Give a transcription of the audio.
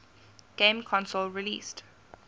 game console released